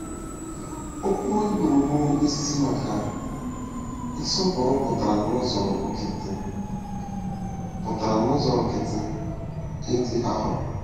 Okwu Hibru bụ́ isi maka “nsọpụrụ” pụtara n’ụzọ nkịtị pụtara n’ụzọ nkịtị “ịdị arọ.”